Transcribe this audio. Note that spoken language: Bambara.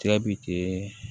Ja bi kɛ